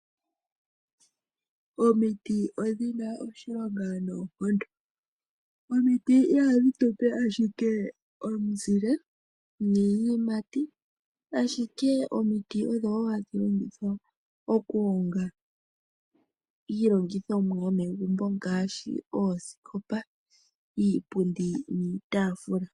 Omiti odhina oshilonga noonkondo. Omiti ihadhi tupe ashike omizile niiyimati , ashike omiti odho hadhi longithwa okuhonga iilongithomwa yomegumbo ngaashi oosikopa, iipundi niitaafula.